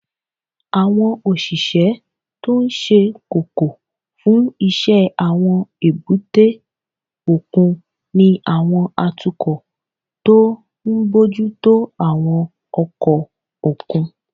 Àwọn òṣìṣẹ́ tó ṣe kókó fún iṣẹ́ àwọn èbúté òkun ni àwọn atukọ̀ tó ń bójú tó àwọn ọkọ̀ òkun